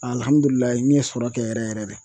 n ye sɔrɔ kɛ yɛrɛ yɛrɛ de.